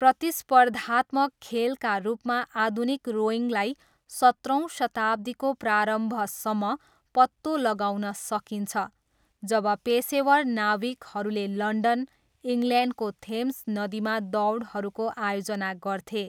प्रतिस्पर्धात्मक खेलका रूपमा आधुनिक रोइङलाई सत्रौँ शताब्दीको प्रारम्भसम्म पत्तो लगाउन सकिन्छ जब पेसेवर नाविकहरूले लन्डन, इङ्ल्यान्डको थेम्स नदीमा दौडहरूको आयोजना गर्थे।